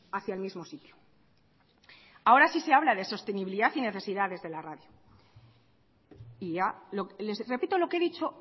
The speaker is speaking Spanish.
hacia el mismo sitio ahora sí se habla de sostenibilidad y necesidades de la radio y ya les repito lo que he dicho